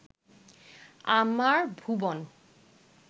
আমার ভুবন